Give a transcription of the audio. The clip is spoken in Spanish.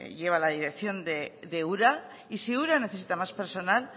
lleva la dirección de ura y si ura necesita más personal